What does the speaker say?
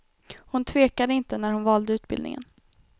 Hon tvekade inte när hon valde utbildningen.